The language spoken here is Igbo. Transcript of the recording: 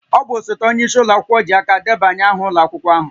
Ọ bụ osote onye isi ụlọ ji aka debanye aha ụlọ akwụkwọ ahụ